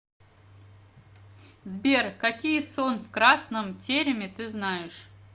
сбер какие сон в красном тереме ты знаешь